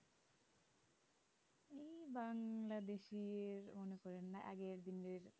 বাংলাদেশি আগের দিনের